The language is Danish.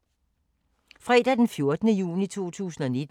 Fredag d. 14. juni 2019